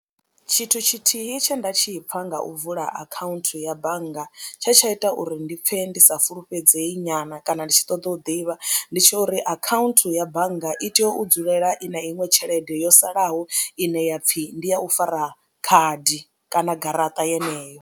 Tshithu tshithihi tshe nda tshi pfha nga u vula akhaunthu ya bannga tshe tsha ita uri ndi pfhe ndi sa fulufhedzei nyana kana ndi tshi ṱoḓa u ḓivha ndi tsha uri akhaunthu ya bannga i tea u dzulela i na iṅwe tshelede yo salaho ine ya pfhi ndi ya u fara khadi kana garaṱa yeneyo.